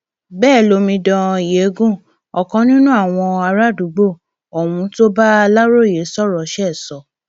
bẹẹ lomidan yengun ọkàn nínú àwọn àràádúgbò ohun tó bá aláròye sọrọ ṣe sọ